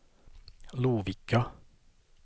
Lovikka